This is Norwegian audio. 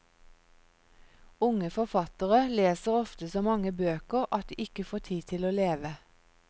Unge forfattere leser ofte så mange bøker at de ikke får tid til å leve.